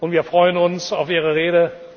Wir freuen uns auf Ihre Rede.